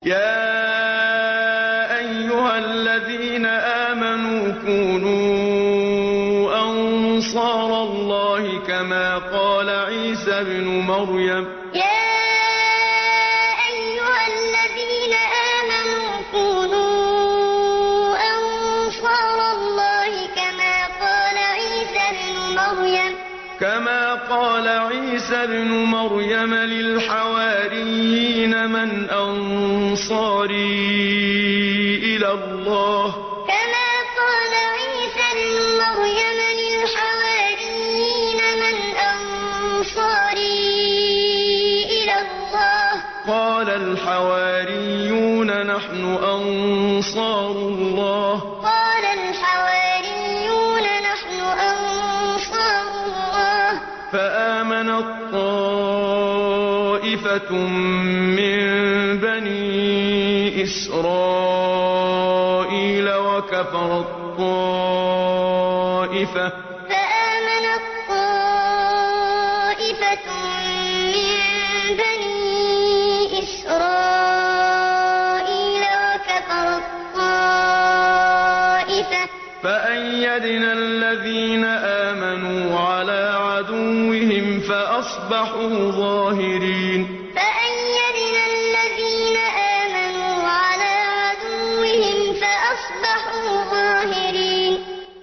يَا أَيُّهَا الَّذِينَ آمَنُوا كُونُوا أَنصَارَ اللَّهِ كَمَا قَالَ عِيسَى ابْنُ مَرْيَمَ لِلْحَوَارِيِّينَ مَنْ أَنصَارِي إِلَى اللَّهِ ۖ قَالَ الْحَوَارِيُّونَ نَحْنُ أَنصَارُ اللَّهِ ۖ فَآمَنَت طَّائِفَةٌ مِّن بَنِي إِسْرَائِيلَ وَكَفَرَت طَّائِفَةٌ ۖ فَأَيَّدْنَا الَّذِينَ آمَنُوا عَلَىٰ عَدُوِّهِمْ فَأَصْبَحُوا ظَاهِرِينَ يَا أَيُّهَا الَّذِينَ آمَنُوا كُونُوا أَنصَارَ اللَّهِ كَمَا قَالَ عِيسَى ابْنُ مَرْيَمَ لِلْحَوَارِيِّينَ مَنْ أَنصَارِي إِلَى اللَّهِ ۖ قَالَ الْحَوَارِيُّونَ نَحْنُ أَنصَارُ اللَّهِ ۖ فَآمَنَت طَّائِفَةٌ مِّن بَنِي إِسْرَائِيلَ وَكَفَرَت طَّائِفَةٌ ۖ فَأَيَّدْنَا الَّذِينَ آمَنُوا عَلَىٰ عَدُوِّهِمْ فَأَصْبَحُوا ظَاهِرِينَ